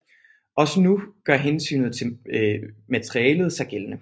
Også nu gør dog hensynet til materialet sig gældende